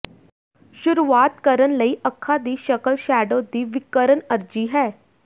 ਸ਼ੁਰੂਆਤ ਕਰਨ ਲਈ ਅੱਖਾਂ ਦੀ ਸ਼ਕਲ ਸ਼ੈਡੋ ਦੀ ਵਿਕਰਣ ਅਰਜ਼ੀ ਹੈ